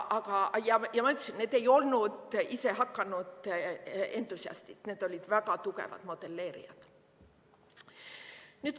Aga ma ütlesin, et need ei olnud isehakanud entusiastid, need olid väga tugevad modelleerijad.